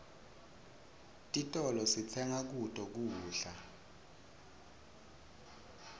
titolo sitsenga kuto kudla